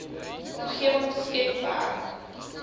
omgewing skep werk